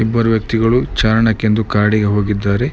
ಇಬ್ಬರು ವ್ಯಕ್ತಿಗಳು ಚಾರಣಕೆಂದು ಕಾಡಿಗೆ ಹೋಗಿದ್ದಾರೆ.